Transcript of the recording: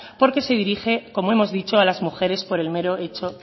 porque se dirige como hemos dicho a las mujeres por el mero hecho